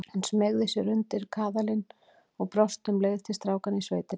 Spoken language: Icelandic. Hún smeygði sér undir kaðalinn og brosti um leið til strákanna í sveitinni.